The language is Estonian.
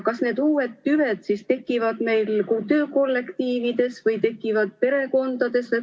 Kas need uued tüved siis tekivad meil töökollektiivides või tekivad perekondades?